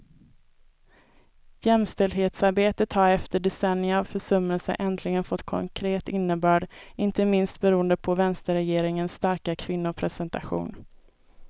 Jämställdhetsarbetet har efter decennier av försummelser äntligen fått konkret innebörd, inte minst beroende på vänsterregeringens starka kvinnorepresentation.